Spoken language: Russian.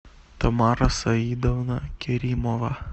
тамара саидовна керимова